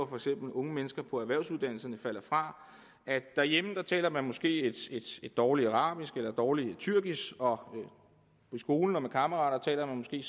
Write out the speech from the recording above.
for eksempel unge mennesker på erhvervsuddannelserne falder fra derhjemme taler man måske et dårligt arabisk eller et dårligt tyrkisk og i skolen og med kammeraterne taler man måske